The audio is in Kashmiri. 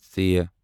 ژ